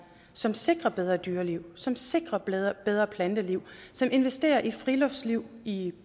som sikrer bedre dyreliv som sikrer bedre planteliv og som investerer i friluftsliv i